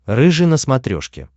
рыжий на смотрешке